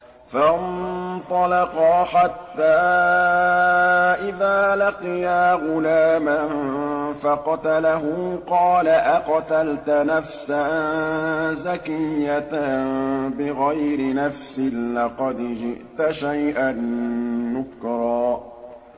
فَانطَلَقَا حَتَّىٰ إِذَا لَقِيَا غُلَامًا فَقَتَلَهُ قَالَ أَقَتَلْتَ نَفْسًا زَكِيَّةً بِغَيْرِ نَفْسٍ لَّقَدْ جِئْتَ شَيْئًا نُّكْرًا